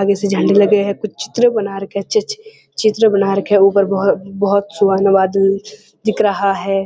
आगे से झंडे लगे हैं कुछ चित्र बना रखें हैं अच्छे-अच्छे चित्र बना रखें है ऊपर बोहो-बोहोत सुहाना दिख रहा है।